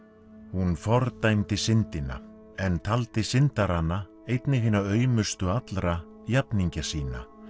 hún fordæmdi syndina en taldi syndarana einnig hina aumustu allra jafningja sína